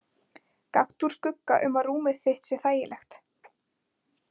Gakktu úr skugga um að rúmið þitt sé þægilegt.